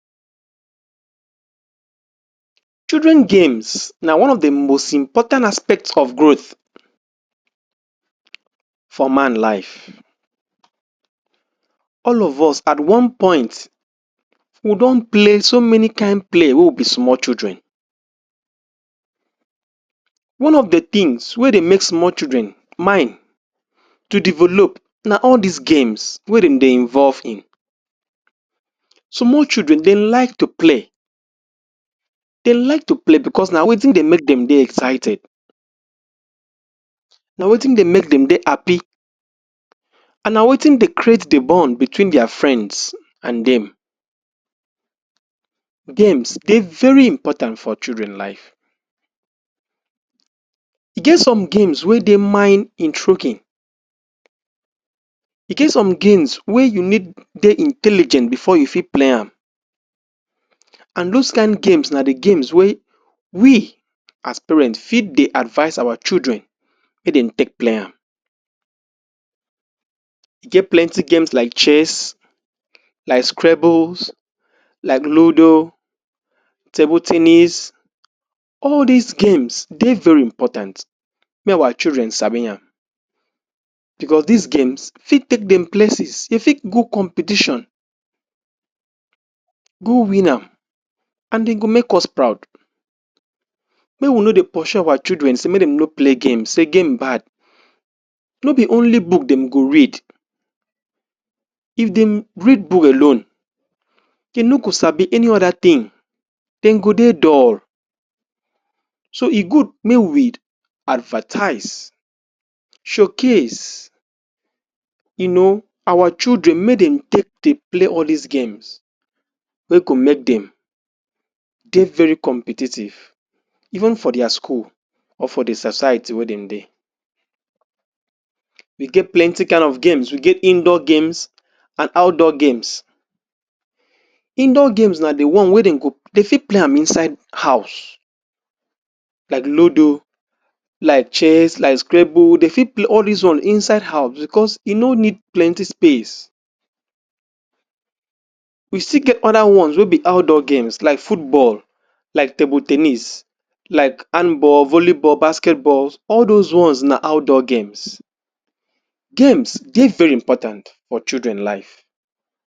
Children games na one of the most important aspect of growth for man life. All of us at one point we don play so many kain play wen we be small children. One of the things wey dey make small children mind to develop na all this games wey dem dey involve in. Small children, dey like to play. Dey like to play because na wetin dey make dem dey excited, na wetin dey make dem dey happy and na wetin dey create the bond between their friends and dem. Games dey very important for children life. E get some games wey dey mind intriguing. E get some games wey you need dey intelligent before you fit play am and those kain games na the games wey we as parent fit dey advice our children make dem take play am. E get plenty games like chess, like scrabbles, like ludo, table ten nis. All these games dey very important make our children sabi am because these games fit take dem place, dem fit go competition, go win am and dem go make us proud. Make we no dey pursue our children say make dem no play games, say game bad. No be only book dem go read. If dem read book alone, dey no go sabi any other thing. Dem go dey dull. So e good make we advertise, showcase you know our children make dem take dey play all these games wey go make dem dey very competitive even for their school or for the society wey dem dey. We get plenty kind of games, we get indoor games and outdoor games. Indoor games na the one wey dem go, dey fit play am inside house like ludo, like chess, like scrabble. Dey fit play all these inside house because e no need plenty space. We still get other ones wey be outdoor games like football, like table ten nis, like handball, volleyball, basketball. All those ones na outdoor games. Games dey very important for children life.